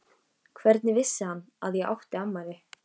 Hvernig vissi hann að ég átti afmæli?